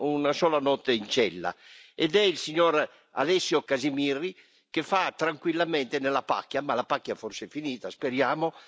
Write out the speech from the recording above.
una sola notte in cella, cioè il signor Alessio Casimirri, che vive tranquillamente nella pacchia ma la pacchia forse è finita, speriamo!